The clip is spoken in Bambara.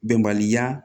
Bɛnbaliya